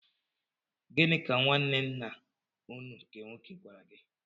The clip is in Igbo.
Gịnị ka nwaanne ńnà ụnụ nke nwoke gwara gị?